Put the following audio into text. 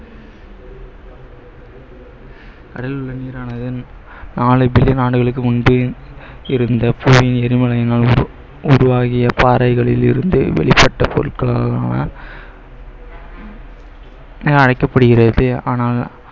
ஆண்டுகளுக்கு முன்பே இருந்த உருவாகிய பாறைகளிலிருந்து வெளிப்பட்ட பொருட்களான என அழைக்கப்படுகிறது ஆனால்